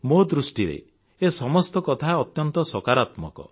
ମୋ ଦୃଷ୍ଟିରେ ଏ ସମସ୍ତ କଥା ଅତ୍ୟନ୍ତ ସକାରାତ୍ମକ